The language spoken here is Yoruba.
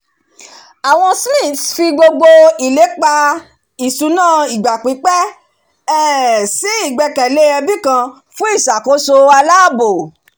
àwọn smiths fi gbogbo ilépa ìṣúná ìgbà-pípẹ́ um si ìgbẹ́kẹ̀lé ẹbí kan fún ìṣàkóso aláàbò